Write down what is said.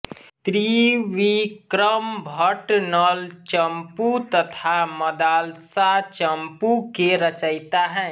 त्रिविक्रमः भट्ट नलचम्पू तथा मदालसाचम्पू के रचयिता हैं